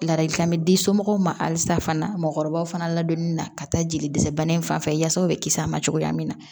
Ladilikan bɛ di somɔgɔw ma halisa fana mɔgɔkɔrɔbaw fana ladonni na ka taa jeli dɛsɛ bana in fan fɛ yasa u bɛ kisi a ma cogoya min na